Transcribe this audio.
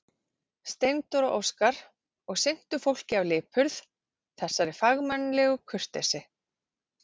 Steindór og Óskar, og sinntu fólki af lipurð, þessari fagmannlegu kurteisi.